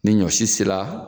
Ni ɲɔsi sela